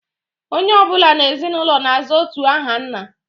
Onye ọ bụla n'ezinụlọ na-aza otu aha nna